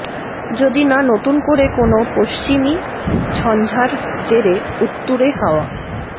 যদি না নতুন করে কোনও পশ্চিমী ঝঞ্ঝার জেরে উত্তুরে হাওয়া